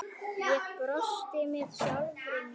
Ég brosti með sjálfri mér.